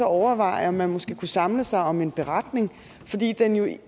overveje om man måske kunne samles om en beretning